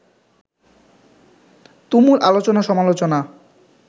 তুমুল আলোচনা-সমালোচনা